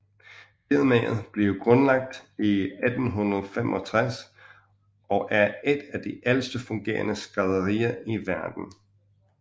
Firmaet blev grundlagt i 1865 og er et af de ældste fungerende skrædderier i verden